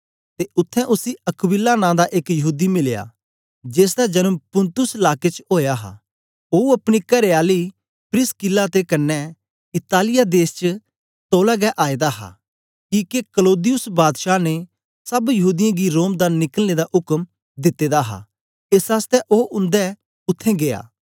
ते उत्थें उसी अक्विला नां दा एक यहूदी मिलया जेसदा जन्म पुन्तुस लाके च ओया हा ओ अपनी करेआली प्रिसकिल्ला दे कन्ने इतालिया देश दा तौला गै आएदा हा किके क्लौदियुस बादशाह ने सब यहूदीयें गी रोम दा निकलने दा उक्म दिते दा हा एस आसतै ओ उन्दे उत्थें गीया